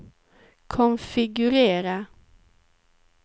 konfigurera